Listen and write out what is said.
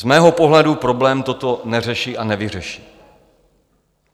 Z mého pohledu problém toto neřeší a nevyřeší.